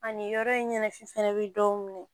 Ani yɔrɔ in ɲɛnajɛ fana bɛ dɔw minɛ